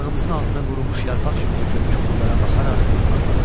Ayağımızın altına qurumuş yarpaq kimi tökülmüş pullara baxaraq ağladım.